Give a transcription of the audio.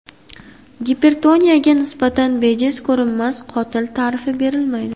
Gipertoniyaga nisbatan bejiz ko‘rinmas qotil ta’rifi berilmaydi.